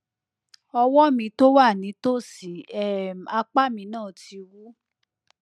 ọwọ mi tó wà nítòsí um apá mi náà ti wú